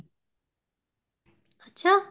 ਅੱਛਾ